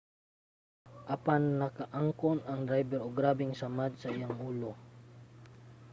apan nakaangkon ang drayber og grabeng samad sa iyahang ulo